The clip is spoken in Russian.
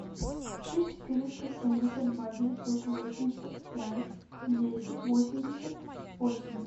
шесть четыреста семьдесят два девятьсот восемьдесят пять десять восемьдесят восемь